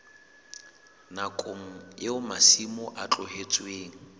nakong eo masimo a tlohetsweng